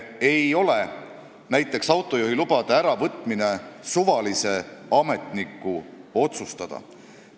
Ja näiteks autojuhiloa äravõtmine ei ole suvalise ametniku otsustada.